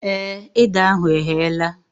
Èé, ede ahụ eghela